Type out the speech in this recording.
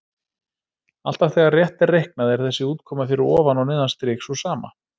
Alltaf þegar rétt er reiknað er þessi útkoma fyrir ofan og neðan strik sú sama.